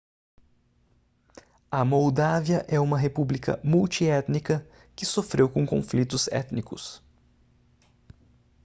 a moldávia é uma república multiétnica que sofreu com conflitos étnicos